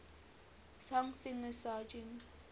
john singer sargent